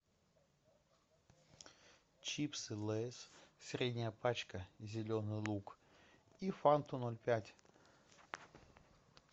чипсы лейс средняя пачка зеленый лук и фанту ноль пять